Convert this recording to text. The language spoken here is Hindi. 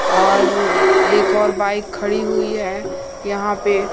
और एक और बाइक खड़ी हुई है यहां पे--